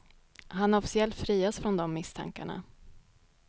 Han har officiellt friats från de misstankarna.